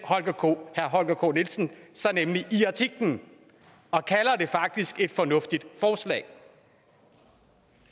herre holger k nielsen sig nemlig og kalder det faktisk et fornuftigt forslag